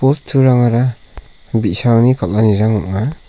bosturangara bi·sarangni kal·anirang ong·a.